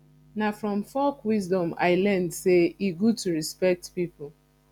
na from folk wisdom i learn sey e good to respect pipo